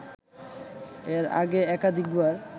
এর আগে একাধিকবার